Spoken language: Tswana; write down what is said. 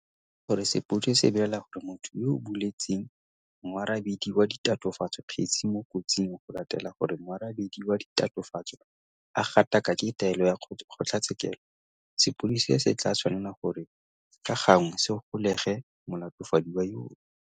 Fa e le gore sepodisi se belaela gore motho yo a buletseng moarabedi wa ditatofatso kgetse o mo kotsing go latela gore moarabedi wa ditatofatso a gatakake taelo ya kgotlatshekelo, sepodisi se tla tshwanela gore ka gangwe se golege molatofadiwa yono.